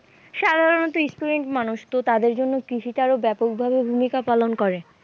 সাধারণত student মানুষ তো তাদের জন্য কৃষিটা আরও ব্যাপকভাবে ভূমিকা পালন করে।